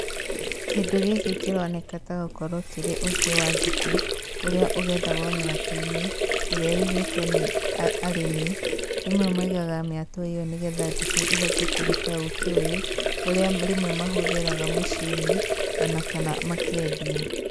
Kĩndũ gĩkĩ kĩroneka ta gũkorwo kĩrĩ ũkĩ wa njũkĩ, ũrĩa ũgethagwo mĩatũ-inĩ, ĩrĩa ĩigitwo nĩ arĩmĩ, rĩmwe maigaga mĩatũ ĩyo nĩgetha njũkĩ ihote kũruta ũkĩ ũyũ ũrĩa rĩmwe mahũthagĩra mũciĩ-inĩ ona kana makendia.